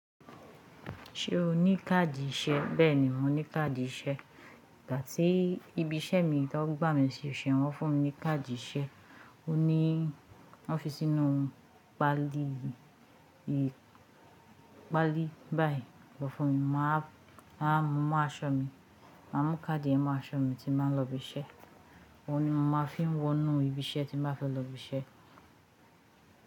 Ṣé o ní káàdì ìṣe? Bẹ́ẹ̀ni mò ní káàdì ìṣe. Gà tí ibi iṣẹ́ mi tan gbà mí síṣẹ́ wọ́n fún mi ní káàdì iṣẹ́, ó ní wọ́n fi sínú paali pálí báyìí lọ́ fun mí, mo wa mú mó aṣọ mi, mà mú káàdì yẹn mó aṣọ mi tí n ba ń lọ ibi iṣẹ́. Óun nií mò má fi ń wọnú ibi iṣẹ́ tí mo bá fẹ́ lọ ibi iṣẹ́.